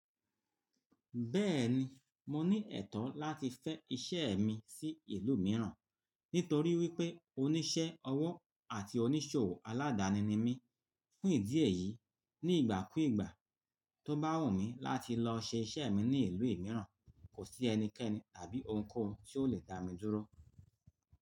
Bẹ́ẹ̀ni, mo ní ẹ̀tọ́ láti fẹ́ iṣẹ́ mi sí ìlú mìíràn, nítorí wípé oníṣẹ́ ọwọ́ àti oníṣòwò aládani ni mí. Fún ìdí èyí, ní ìgbà kú ìgbà tó bá wù mí láti lọ ṣe iṣẹ́ mi ní ìlú mìíràn, kò sí ẹnikẹ́ni tàbí ohunkóhun tí ó lè dá mi dúró.